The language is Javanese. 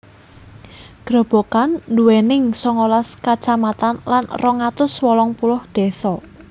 Grobogan nduwening songolas kacamatan lan rong atus wolung puluh désa